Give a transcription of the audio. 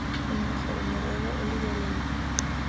nngwe gore morero o lebelelwe